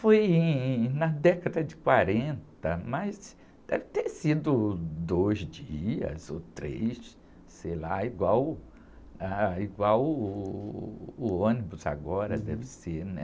Foi em, na década de quarenta, mas deve ter sido dois dias ou três, sei lá, igual, ah, igual, uh, o ônibus agora deve ser, né?